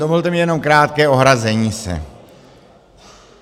Dovolte mi jenom krátké ohrazení se.